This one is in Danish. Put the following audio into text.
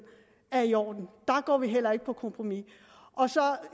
er i orden der går vi heller ikke på kompromis og